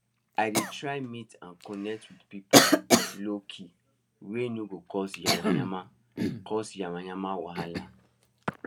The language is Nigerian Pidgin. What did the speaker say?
i dey try meet and connect with pipu low key wey no go cause yama yama cause yama yama wahala